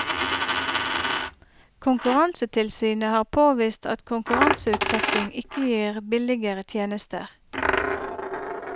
Konkurransetilsynet har påvist at konkurranseutsetting ikke gir billigere tjenester.